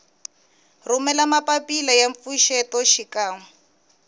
rhumela mapapila ya mpfuxeto xikan